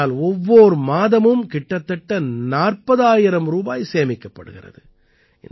இதனால் ஒவ்வோர் மாதமும் கிட்டத்தட்ட 40000 ரூபாய் சேமிக்கப்படுகிறது